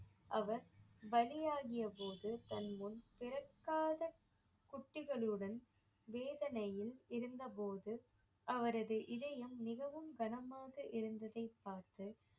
அவர் பலியாகிய போது தன் முன் பிறக்காத குட்டிகளுடன் வேதனையில் இருந்த போது அவரது இதயம் மிகவும் கனமாக இருந்ததை பார்த்து